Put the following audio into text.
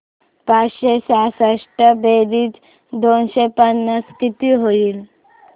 पाचशे सहासष्ट बेरीज दोनशे पन्नास किती होईल